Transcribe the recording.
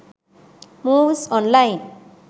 movies online